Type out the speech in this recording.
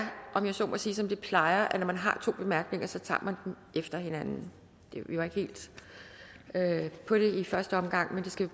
om jeg så må sige som det plejer at når man har to bemærkninger så tager man dem efter hinanden vi var ikke helt med på det i første omgang så det skal